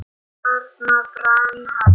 Þarna brann hann.